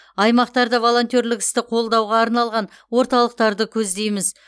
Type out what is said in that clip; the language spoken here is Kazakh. аймақтарда волонтерлік істі қолдауға арналған орталықтарды көздейміз